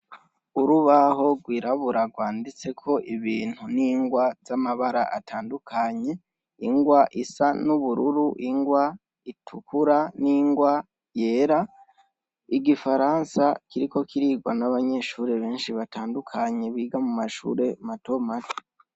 Urubaho gwirabura gwanditsek' ibintu n' ingwa z' amabar' atandukanye: ingw' isa n' ubururu, ingw' itukura n' ingwa yera, igifaransa kiriko kirigwa n' abanyeshure benshi batandukanye biga mu mashure matomato.